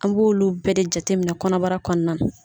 An b'oolu bɛɛ de jateminɛ kɔnɔbara kɔnɔna.